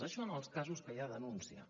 això en els casos que hi ha denúncia